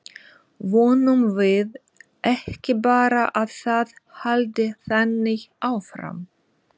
Vonum við ekki bara að það haldi þannig áfram?